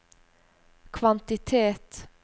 kvantitet